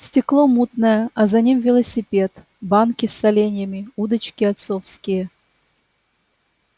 стекло мутное а за ним велосипед банки с соленьями удочки отцовские